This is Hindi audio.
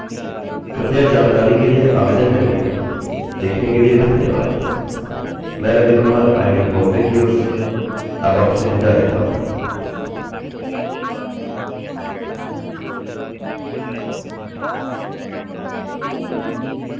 कृपया जानकारी के लिए आवेदन करिये देखने के लिए धन्यवाद मैं रवि कुमार आईआईटीबॉम्बे की ओर से अब आपसे विदा लेता हूँ